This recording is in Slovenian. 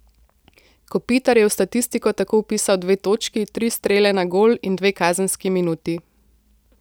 Kopitar je v statistiko tako vpisal dve točki, tri strele na gol in dve kazenski minuti.